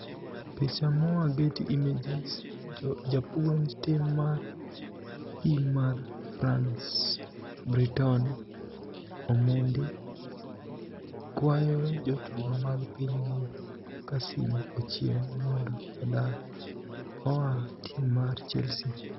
(Telegram) pich moa Getty images japuonij tim mar pim mar Franice Britonini Omonidi kwayo jotugo mag piniygi Kassim Ochienig monido odar oa tim mar chelsea.